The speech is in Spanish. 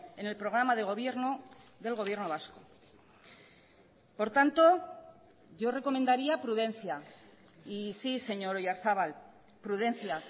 en el programa de gobierno del gobierno vasco por tanto yo recomendaría prudencia y sí señor oyarzabal prudencia